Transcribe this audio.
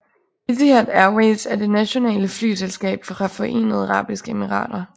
Etihad Airways er det nationale flyselskab fra Forenede Arabiske Emirater